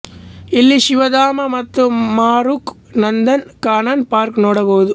ಇಲ್ಲಿ ಶಿವಧಾಮ ಮತ್ತು ಮಾರುಕ್ ನಂದನ್ ಕಾನನ್ ಪಾರ್ಕ್ ನೋಡಬಹುದು